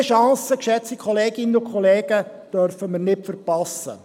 Diese Chance, geschätzte Kolleginnen und Kollegen, dürfen wir nicht verpassen.